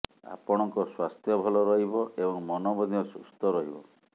ଆପଣଙ୍କ ସ୍ବାସ୍ଥ୍ୟ ଭଲ ରହିବ ଏବଂ ମନ ମଧ୍ୟ ସୁସ୍ଥ ରହିବ